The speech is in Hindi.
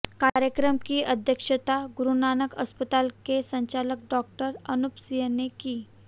कार्यक्रम की अध्यक्षता गुरुनानक अस्पताल के संचालक डॉ अनूपसिंह ने की